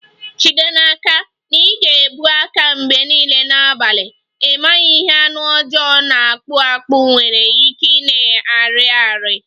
Jide n'aka na ị na-ebu aka mgbe niile n'abalị, ị maghị ihe anụ ọjọọ na-akpụ akpụ nwere ike ịna-arị arị